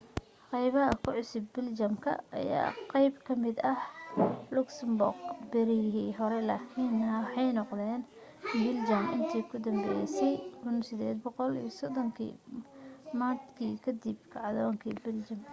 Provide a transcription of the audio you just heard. qaybaha ku cusub biljamka ayaa ahaa qayb kamida luxembourg berigii hore lakiin waxay noqdeen biljam intii ka danbaysay 1830 maadkii kadib kacdoonkii biljamka